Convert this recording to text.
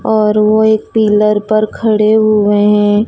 और वो एक पिलर पर खड़े हुए है।